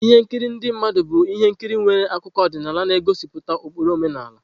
Ihe nkiri ndị mmadụ bụ ihe nkiri nwere akụkọ ọdịnala na-egosipụta ụkpụrụ omenala.